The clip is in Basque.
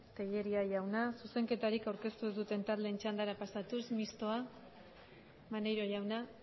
tellería jauna zuzenketarik aurkeztu ez duten taldeen txandara pasatuz mistoa maneiro jauna